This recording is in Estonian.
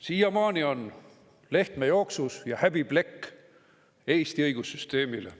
Siiamaani on Lehtme jooksus ja see on häbiplekk Eesti õigussüsteemile.